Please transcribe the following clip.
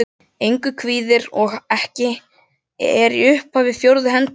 Engu kvíðir. og en er ekki í upphafi fjórðu hendingar.